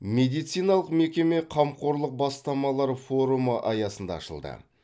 медициналық мекеме қамқорлық бастамалар форумы аясында ашылды